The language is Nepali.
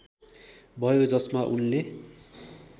भयो जसमा उनले